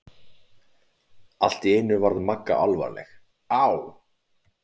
Allt í einu varð Magga alvarleg: Á